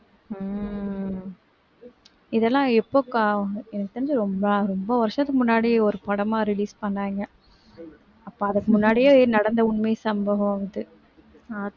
இதெல்லாம் எப்ப அக்கா எனக்கு தெரிஞ்சு ரொம்ப ரொம்ப வருஷத்துக்கு முன்னாடியே ஒரு படமா release பண்ணாங்க அப்ப அதுக்கு முன்னாடியே நடந்த உண்மை சம்பவம் இது